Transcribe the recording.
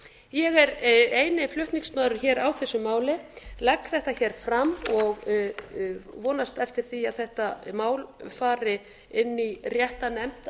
ég er eini flutningsmaðurinn hér á þessu máli legg þetta hér fram og vonast eftir því að rétta mál fari inn í rétta nefnd ætli það sé ekki